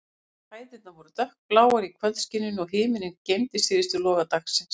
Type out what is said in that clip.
Hæðirnar voru dökkbláar í kvöldskininu, og himinninn geymdi síðustu loga dagsins.